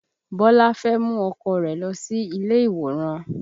Bọlá fẹ́ mú ọkọ rẹ̀ lọ sí ilé ìwòran